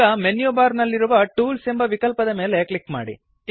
ಈಗ menu bar ನಲ್ಲಿರುವ tools ಎಂಬ ವಿಕಲ್ಪದ ಮೇಲೆ ಕ್ಲಿಕ್ ಮಾಡಿ